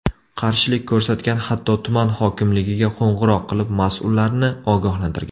Qarshilik ko‘rsatgan, hatto tuman hokimligiga qo‘ng‘iroq qilib, mas’ullarni ogohlantirgan.